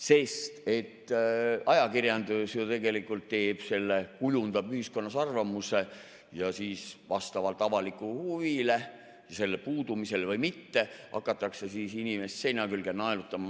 Sest et tegelikult ajakirjandus teeb selle, kujundab ühiskonnas arvamuse ja siis vastavalt avalikule huvile, selle puudumisele või mitte, hakatakse inimest seina külge naelutama.